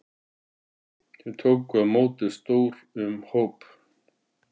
Þeir tóku á móti stór um hóp.